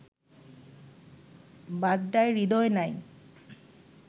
বাড্ডায় হৃদয় নাই